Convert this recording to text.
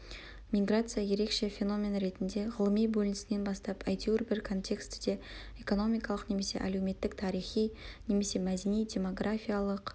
миграция ерекше феномен ретінде ғылыми бөлінісінен бастап әйтеуір бір контекстіде-экономикалық немесе әлеуметтік тарихи немесе мәдени демографиялық